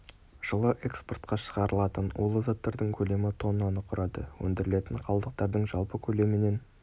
жылы экспортқа шығарылатын улы заттардың көлемі тоннаны құрады өндірілетін қалдықтардың жалпы көлемінен